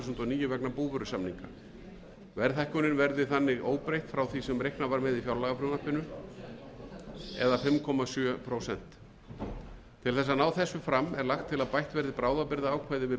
níu vegna búvörusamninga verðhækkunin verði þannig óbreytt frá því sem reiknað var með í fjárlagafrumvarpinu það er fimm komma sjö prósent til að ná þessu fram er lagt til að bætt verði bráðabirgðaákvæði við búvörulögin þess efnis að búvörusamningar við bændur